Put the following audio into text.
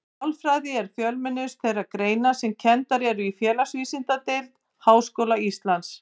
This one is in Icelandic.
Sálfræði er fjölmennust þeirra greina sem kenndar eru innan Félagsvísindadeildar Háskóla Íslands.